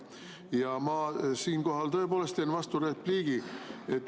Ja ma siinkohal tõepoolest teen vasturepliigi.